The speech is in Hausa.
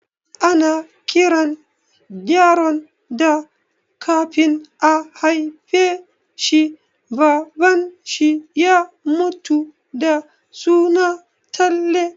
Ana kiran yaron da kafin a haifa shi Baban shi ya mutu da suna Talle